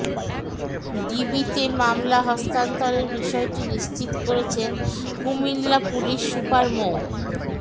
ডিবিতে মামলা হস্তান্তরের বিষয়টি নিশ্চিত করেছেন কুমিল্লা পুলিশ সুপার মো